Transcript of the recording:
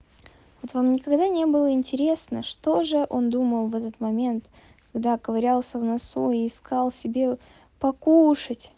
вот вам никогда не было интересно что же он думал в этот момент когда ковырялся в носу и искал себе покушать